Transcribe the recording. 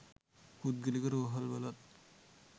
පුද්ගලික රෝහල්වලත්